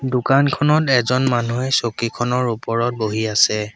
দোকানখনত এজন মানুহে চকীখনৰ ওপৰত বহি আছে।